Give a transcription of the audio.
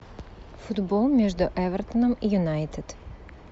футбол между эвертоном и юнайтед